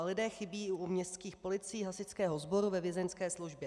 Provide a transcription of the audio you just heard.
A lidé chybí i u městských policií, hasičského sboru, ve vězeňské službě.